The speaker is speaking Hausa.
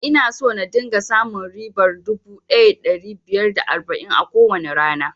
Ina so na dinga samun ribar dubu ɗaya da ɗari biyar da arba'in a kowane rana